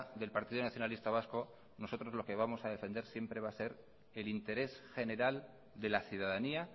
del partido nacionalista vasco nosotros lo que vamos a defender siempre va a ser el interés general de la ciudadanía